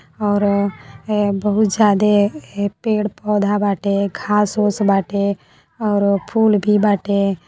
और अ ए बहुत ज्यादे पेड़-पौधा बाटे। घास ओस बाटे और फूल भी बाटे।